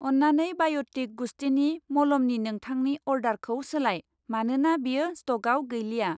अन्नानै बाय'टिक गुस्थिनि मलमनि नोंथांनि अर्डारखौ सोलाय, मानोना बेयो स्टकआव गैलिया।